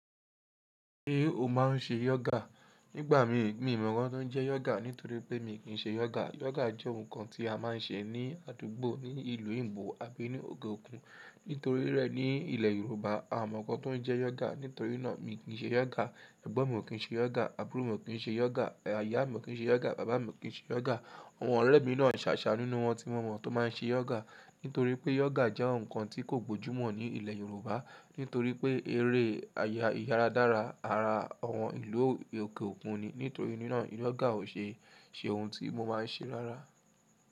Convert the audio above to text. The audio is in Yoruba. Ṣé o máa ń ṣe yoga? Nígbà mi, mi ò mọ̀ nǹkan tó ń jẹ́ yoga nítorí pé mi kì í ṣe yoga. Yoga jẹ́ nǹkan tí a máa ń ṣe ní àdúgbò, ní ìlú òyìnbó àbí ní òkè òkun. Nítorí rẹ̀ ní ilẹ̀ Yorùbá a mọ̀ nǹkan tó ń jẹ́ yoga. Nítorí náà mi kì í ṣe yoga, ẹ̀gbọ́n mi ò kí ń ṣe yoga, àbúrò mi ò kí ń ṣe yoga, ìyá mi ò kí ń ṣe yoga, bàbá mi ò kí ń ṣe yoga. Àwọn ọ̀rẹ́ mi náà ń ṣàṣà nínú wọn tí mo mọ̀ tó máa ń ṣe yoga. Nítorí pé yoga jẹ́ nǹkan tí kò gbójú mọ̀ ní ilẹ̀ Yorùbá. Nítorí pé eré àyà ìyára dára ara àwọn ìlú òkè òkun ni. Nítorí ná yoga ò ṣe, ṣe ohun tí mo máa ń ṣe rárá.